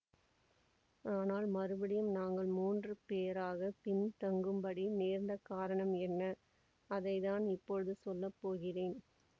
ஆனால் மறுபடியும் நாங்கள் மூன்று பேராகப் பின் தங்கும்படி நேர்ந்த காரணம் என்ன அதை தான் இப்போது சொல்ல போகிறேன்